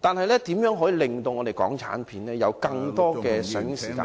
但港產片的上映時間......